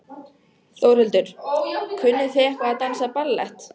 Þórhildur: Kunnið þið eitthvað að dansa ballett?